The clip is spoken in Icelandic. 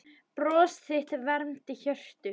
Bros þitt vermdi hjörtu.